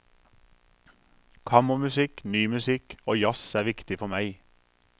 Kammermusikk, ny musikk og jazz er viktig for meg.